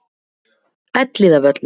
Elliðavöllum